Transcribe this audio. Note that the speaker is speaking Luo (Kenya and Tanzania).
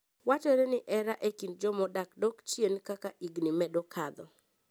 Wachore ni hera e kind joma odak dok chien kaka higni medo kadho.